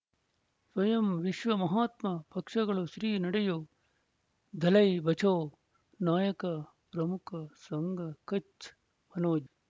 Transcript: ಸ್ವಯಂ ವಿಶ್ವ ಮಹಾತ್ಮ ಪಕ್ಷಗಳು ಶ್ರೀ ನಡೆಯೂ ದಲೈ ಬಚೌ ನಾಯಕ ಪ್ರಮುಖ ಸಂಘ ಕಚ್ ಮನೋಜ್